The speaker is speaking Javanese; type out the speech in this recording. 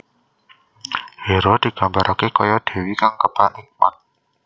Hera digambarake kaya dewi kang kebak hikmat